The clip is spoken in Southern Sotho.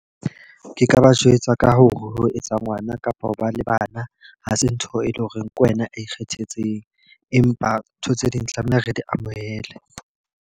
Ke ka ba jwetsa ka hore ho etsa ngwana kapa ho ba le bana. Ha se ntho e leng hore ke wena ikgethetseng. Empa ntho tse ding tlameha re di amohele.